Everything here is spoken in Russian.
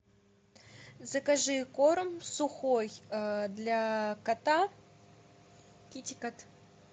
закажи корм сухой для кота китикет